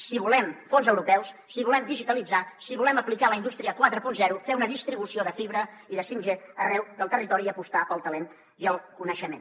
si volem fons europeus si volem digitalitzar si volem aplicar la indústria quaranta fer una distribució de fibra i de 5g arreu del territori i apostar pel talent i el coneixement